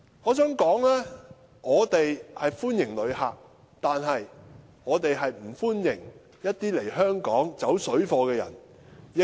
我想說的是，我們歡迎旅客，但我們不歡迎一些來香港"走水貨"的人。